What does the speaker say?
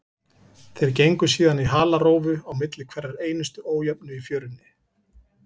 Þeir gengu síðan í halarófu á milli hverrar einustu ójöfnu í fjörunni.